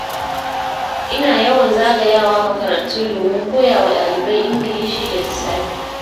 Ina yawan zagayawa makarantu domin koya wa ɗalibai Ingilishi da lissafi.